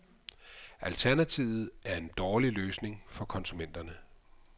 Alternativet er en dårlig løsning for konsumenterne.